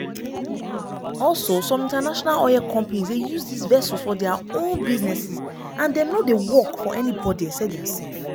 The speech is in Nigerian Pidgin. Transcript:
also some international oil companies dey use dis vessels for dia own businesses and "dem no dey work for anybody except diasef".